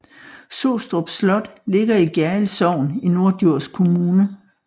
Sostrup Slot ligger i Gjerrild Sogn i Norddjurs Kommune